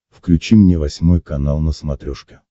включи мне восьмой канал на смотрешке